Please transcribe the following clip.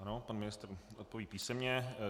Ano, pan ministr odpoví písemně.